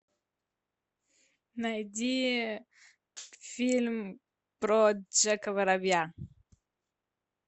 найди фильм про джека воробья